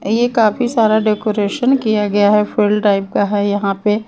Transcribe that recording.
ये काफी सारा डेकोरेशन किया गया है फील्ड टाइप का है यहां पे --